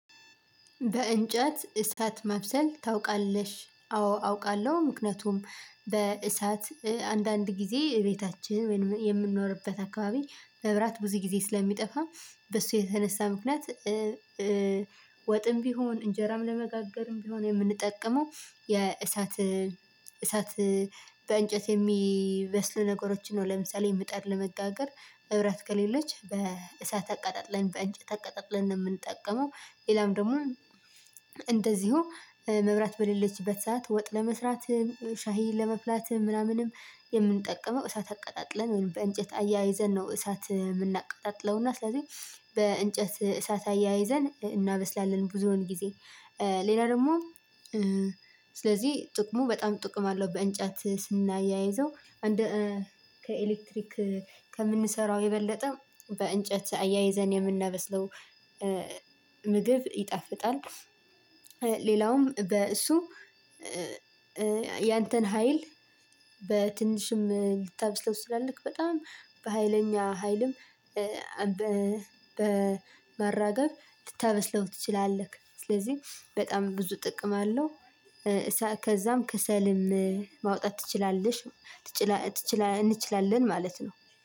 በእንጨት እሳት መብሰል ታውቃለሽ? አዎ አውቃለሁ። ምክንያቱም በእሳት አንዳንድ ጊዜ ቤታችን የምንኖርበት አካባቢ መብራት ብዙ ጊዜ ስለሚጠፋ በሱ የተነሳ ምክንያት። ወጥም ቢሆን እንጀራም ለመጋገርም ቢሆን የምንጠቀመው የእሳት እሳት በእንጨት የሚበስል ነገሮችን ነው ለምሳሌ ምጣድ ለመጋገር እብራት ከሌለች በእሳት አቀጣጥለን በእንጨት አቀጣጥለን ነው። የምንጠቀመው ሌላም ደግሞ እንደዚሁ መብራት በሌለችበት ሰዓት ወጥ ለመስራትም ሻይ ለማፍላትም ምናምንም የምንጠቀመው እሳት አቀጣጥለን ወይም በእንጨት አያይዘን ነው። እሳት የምናቀጣጥለው እና ስለዚህ በእንጨት እሳት አያይዘን እናበስላለን። ብዙዎን ጊዜ ሌላ ደግሞ ስለዚህ ጥቅሙ በጣም ጥቅም አለው። በእንጨት ስናያይዘው ከኤሌክትሪክ ከምንሰራው የበለጠ በእንጨት አያይዘን የምናበስለው ምግብ ይጣፍጣል። ሌላውም በእሱ ያንተን ሀይል በትንሽም ልታበስለው ስላለክ በጣም በሃይለኛ ሃይልም በማራገብ ልታበስለው ትችላለህ። ስለዚህ በጣም ብዙ ጥቅም አለው። ከዛም ከሰልም ማውጣት ትችላለሽ። እንችላለን ማለት ነው።